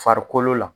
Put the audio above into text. Farikolo la